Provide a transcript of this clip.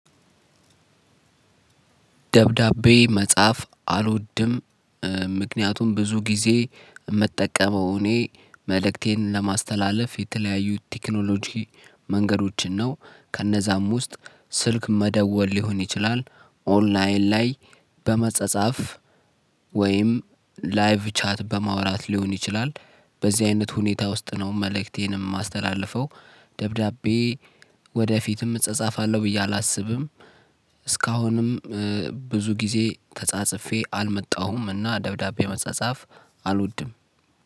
ደብዳቤ መጻፍ አልወድም። ምክንያቱም ብዙ ጊዜ የምጠቀመው እኔ መልእክቴን ለማስተላለፍ የተለያዩ ቴክኖሎጂ መንገዶችን ነው ከእነዛም ውስጥ ስልክ መደወል ሊሆን ይችላል ኦንላይን ላይ በመጸጸፍ ወይም ላይቭ ቻት በማውራት ሊሆን ይችላል። በዚህ አይነት ሁኔታ ውስጥ ነው መልእክቴንም የማስተላልፈው ደብዳቤ ወደፊትም እጻጻፋለሁ ብዬ አላስብም። እስካሁንም ብዙ ጊዜ ተጻጽፌ አልመጣሁም እና ደብዳቤ መጻጻፍ አልወድም።